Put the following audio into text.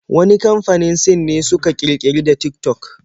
Wani kamfanin Sin ne suka ƙirƙiri da Tik-tok